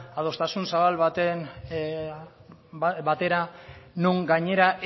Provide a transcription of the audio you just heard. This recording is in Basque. adostasun zabal batera non gainera